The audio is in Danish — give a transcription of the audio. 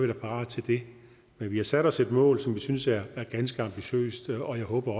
da parat til det men vi har sat os et mål som vi synes er ganske ambitiøst og jeg håber